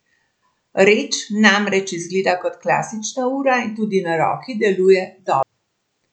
Reč namreč izgleda kot klasična ura in tudi na roki deluje dobro.